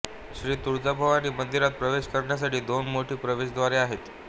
श्री तुळजाभवानी मंदिरात प्रवेश करण्यासाठी दोन मोठी प्रवेशद्वारे आहेत